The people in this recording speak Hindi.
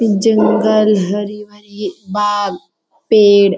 जंगल हरी भरी बाग पेड़ --